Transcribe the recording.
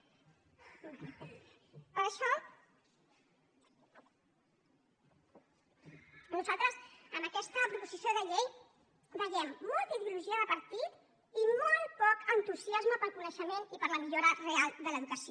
per això nosaltres en aquesta proposició de llei hi veiem molta ideologia de partit i molt poc entusiasme pel coneixement i per la millora real de l’educació